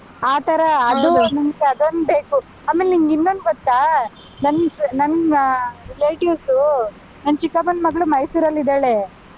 ಆ ತರ ಅದು ಒಂದ್ ನಂಗೆ ಅದೊಂದ್ ಬೇಕು. ಆಮೇಲ್ ನಿನ್ಗಿನ್ನೊಂದ್ ಗೊತ್ತಾ, ನನ್ ನನ್ನ relatives ಊ ನನ್ ಚಿಕ್ಕಪ್ಪನ್ ಮಗ್ಳು ಮೈಸೂರಲ್ಲಿದ್ದಾಳೆ.